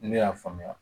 Ne y'a faamuya